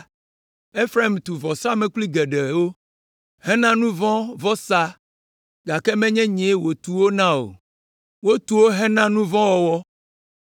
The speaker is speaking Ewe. “Efraim tu vɔsamlekpui geɖewo, hena nu vɔ̃ vɔsa, gake menye nyee wòtu wo na o. Wotu wo hena nu vɔ̃ wɔwɔ.